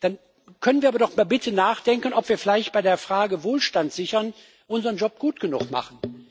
Dann können wir aber doch bitte nachdenken, ob wir vielleicht bei der Frage Wohlstand sichern unseren Job gut genug machen.